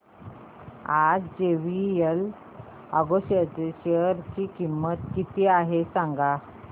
आज J V L agro Ind च्या share ची किंमत किती आहे सांगा